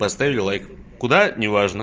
поставили лайк куда не важно